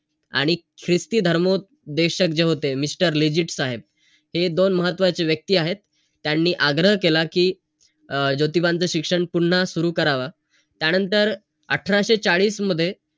आणि ख्रिस्ती धर्मोपदेशक जे होते. mister लेजिट साहेब, हे दोन महत्वाचे व्यक्ती आहेत. त्यांनी आग्रह केला कि अं ज्योतीबांच शिक्षण पुन्हा सुरू करावं. त्यानंतर, अठराशे चाळीस मध्ये,